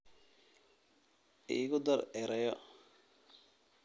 Igu dar erayo